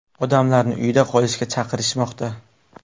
Odamlarni uyda qolishga chaqirishmoqda.